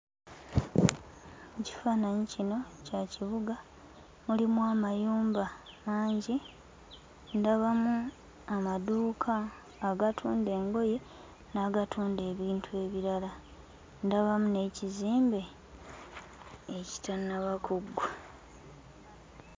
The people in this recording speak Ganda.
Ekifaananyi kino kya kibuga. Mulimu amayumba mangi, ndabamu amaduuka agatunda engoye n'agatunda ebintu ebirala, ndabamu n'ekizimbe ekitannaba kuggwa.